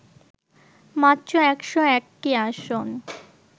মাত্র ১০১টি আসন